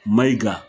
Mayiga